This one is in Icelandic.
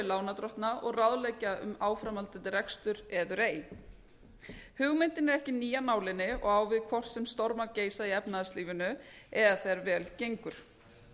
lánardrottna og ráðleggja um áframhaldandi rekstur eður ei hugmyndin er ekki ný af nálinni og á við hvort sem stormar geisa í efnahagslífinu eða þegar vel gengur